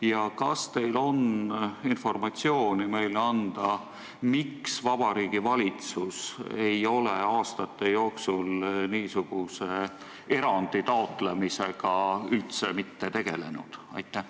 Ja kas teil on meile anda informatsiooni, miks Vabariigi Valitsus ei ole aastate jooksul niisuguse erandi taotlemisega üldse mitte tegelenud?